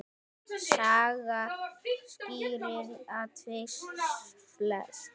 Saga skýrir atvik flest.